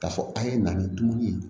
K'a fɔ a' ye na ni dumuni ye